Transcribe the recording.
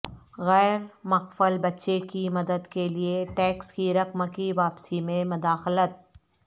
غیر مقفل بچے کی مدد کے لئے ٹیکس کی رقم کی واپسی میں مداخلت